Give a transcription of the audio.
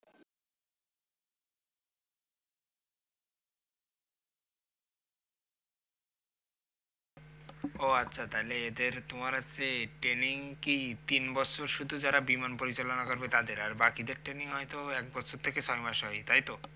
ও আচ্ছা তাহলে এদের তোমার হচ্ছে training কি তিন বছর শুধু যারা বিমান পরিচালনা করবে তাদের আর বাকিদের training হয়ত এক বছর থেকে ছয় মাস হয় তাইতো